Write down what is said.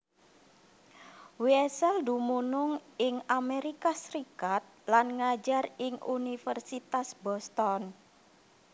Wiesel dumunung ing Amerika Serikat lan ngajar ing Universitas Boston